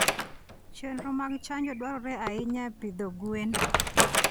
Chenro mag chanjo dwarore ahinya e pidho gwen.